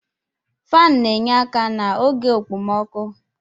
Faanụ na-enye aka n'oge okpomọkụ